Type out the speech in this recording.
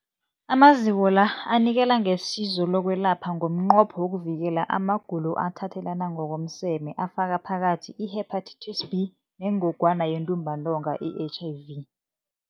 Amaziko la anikela ngesizo lokwelapha ngomnqopho wokuvikela amagulo athathelana ngokomseme afaka phakathi i-Hepatitis B neNgogwana yeNtumbantonga, i-HIV.